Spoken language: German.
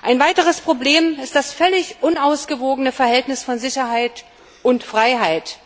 Ein weiteres Problem ist das völlig unausgewogene Verhältnis von Sicherheit und Freiheit.